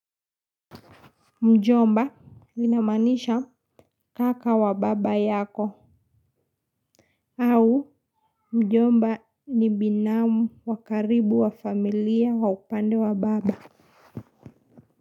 Mjomba inamanisha kaka wa baba yako au mjomba ni binamu wa karibu wa familia wa upande wa baba.